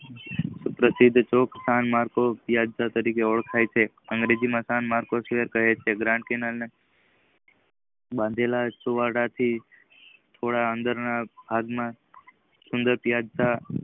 પ્રશિધ ચોકશન માટે વ્યાજતા તરીકે ઓળખાય છે અંગ્રેજી માં જ્ઞાન માર્કો કહે છે. બાંધેલા સુંવાડેલા થી થોડા ના અંદર ના ભાગ માં સુન્દ્સર